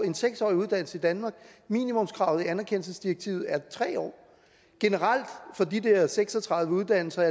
en seks årig uddannelse i danmark minimumskravet i anerkendelsesdirektivet er tre år generelt for de der seks og tredive uddannelser